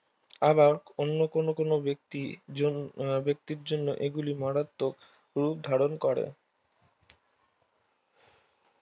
আবার অন্য কোনো কোনো ব্যক্তি জন্য ব্যক্তির জন্য এগুলি মারাত্মক রুপ ধারন করে